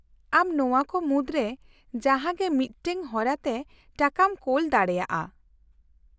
ᱟᱢ ᱱᱚᱶᱟ ᱠᱚ ᱢᱩᱫᱽᱨᱮ ᱡᱟᱦᱟᱸᱜᱮ ᱢᱤᱫᱴᱟᱝ ᱦᱚᱨᱟᱛᱮ ᱴᱟᱠᱟᱢ ᱠᱳᱞ ᱫᱟᱲᱮᱭᱟᱜᱼᱟ ᱾